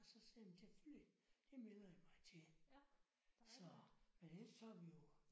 Og så sagde jeg men selvfølgelig. Det melder jeg mig til. Så men ellers så har vi jo